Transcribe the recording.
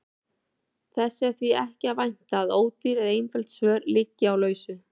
Þess er því ekki að vænta að ódýr eða einföld svör liggi á lausu.